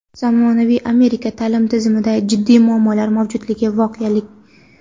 Zamonaviy Amerika ta’lim tizimida jiddiy muammolar mavjudligi voqelik.